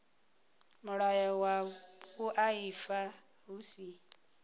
mulayo wa vhuaifa hu si